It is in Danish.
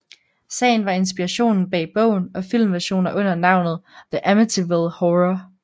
Sagen var inspirationen bag bogen og filmversioner under navnet The Amityville Horror